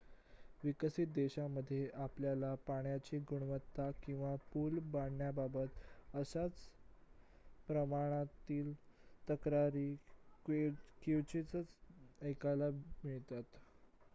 विकसित देशांमध्ये आपल्याला पाण्याची गुणवत्ता किंवा पुल पडण्याबाबत अशाच प्रमाणातील तक्रारी क्वचितच ऐकायला मिळतात